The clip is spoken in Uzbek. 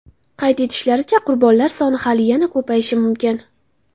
Qayd etishlaricha, qurbonlar soni hali yana ko‘payishi mumkin.